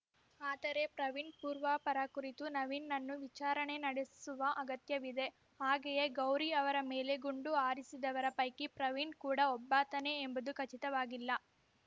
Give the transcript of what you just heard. ಆದರೆ ಪ್ರವೀಣ್‌ ಪೂರ್ವಾಪರ ಕುರಿತು ನವೀನ್‌ನನ್ನು ವಿಚಾರಣೆ ನಡೆಸುವ ಅಗತ್ಯವಿದೆ ಹಾಗೆಯೇ ಗೌರಿ ಅವರ ಮೇಲೆ ಗುಂಡು ಹಾರಿಸಿದವರ ಪೈಕಿ ಪ್ರವೀಣ್‌ ಕೂಡಾ ಒಬ್ಬಾತನೇ ಎಂಬುದು ಖಚಿತವಾಗಿಲ್ಲ